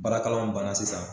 Baarakalaw banna sisan